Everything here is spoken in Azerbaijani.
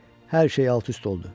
Hər şey alt-üst oldu.